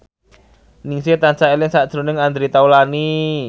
Ningsih tansah eling sakjroning Andre Taulany